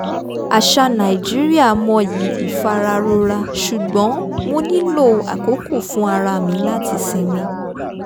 àṣà nàìjíríà mọyì ìfararora ṣùgbọ́n mo nílò àkókò fún ara mi láti sinmi